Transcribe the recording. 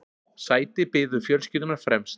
Sæti biðu fjölskyldunnar fremst.